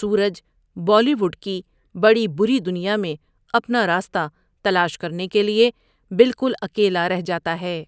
سورج بالی ووڈ کی بڑی بری دنیا میں اپنا راستہ تلاش کرنے کے لیے بالکل اکیلا رہ جاتا ہے۔